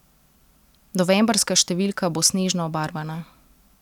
Novembrska številka bo snežno obarvana.